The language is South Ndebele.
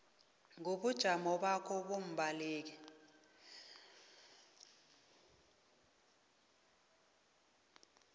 kobujamo bakho bombaleki